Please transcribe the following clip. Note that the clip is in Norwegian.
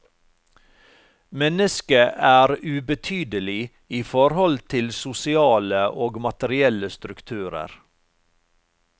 Mennesket er ubetydelig i forhold til sosiale og materielle strukturer.